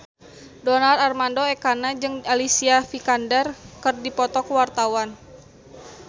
Donar Armando Ekana jeung Alicia Vikander keur dipoto ku wartawan